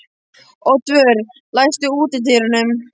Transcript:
Oddvör, læstu útidyrunum.